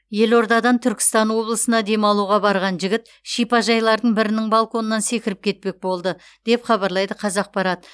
елордадан түркістан облысына демалуға барған жігіт шипажайлардың бірінің балконынан секіріп кетпек болды деп хабарлайды қазақпарат